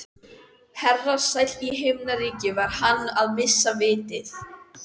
Herra sæll í himnaríki, var hann að missa vitið?